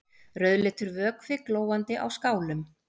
Rauðleitur vökvi glóandi á skálum.